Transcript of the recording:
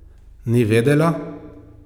Ni vedela?